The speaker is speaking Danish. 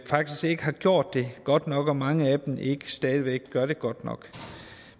faktisk ikke har gjort det godt nok og at mange af dem stadig væk ikke gør det godt nok